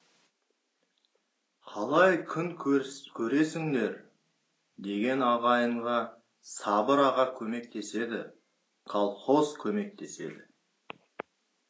қалай күн көресіңдер деген ағайынға сабыр аға көмектеседі колхоз көмектеседі